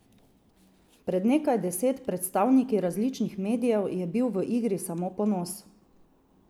Pred nekaj deset predstavniki različnih medijev je bil v igri samo ponos.